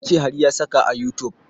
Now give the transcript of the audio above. Ya ce har ya saka a youtube